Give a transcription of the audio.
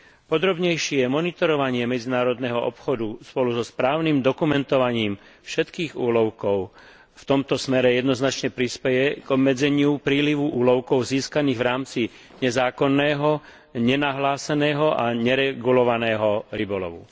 Podrobnejšie monitorovanie medzinárodného obchodu spolu so správnym dokumentovaním všetkých úlovkov v tomto smere jednoznačne prispeje k obmedzeniu prílivu úlovkov získaných v rámci nezákonného, nenahláseného a neregulovaného rybolovu.